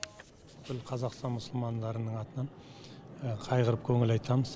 бүкіл қазақстан мұсылмандарының атынан қайғырып көңіл айтамыз